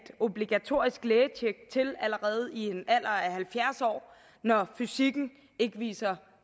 obligatorisk lægetjek til allerede i en alder af halvfjerds år når fysikken ikke viser